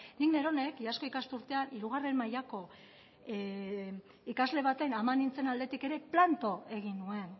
nik neronek iazko ikasturtean hirugarren mailako ikasle baten ama nintzen aldetik ere planto egin nuen